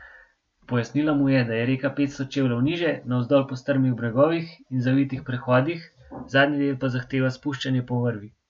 Pojasnila mu je, da je reka petsto čevljev niže, navzdol po strmih bregovih in zavitih prehodih, zadnji del pa zahteva spuščanje po vrvi.